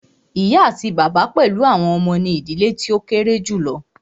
Ìyá àti bàbá pẹlú àwọn ọmọ ní ìdílé tí o kéré julọ.